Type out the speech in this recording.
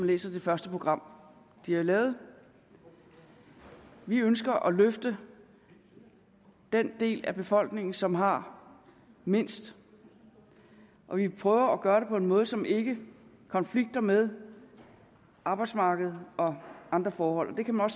læse i det første program de har lavet vi ønsker at give et løft til den del af befolkningen som har mindst og vi prøver at gøre det på en måde som ikke konflikter med arbejdsmarkedet og andre forhold det kan man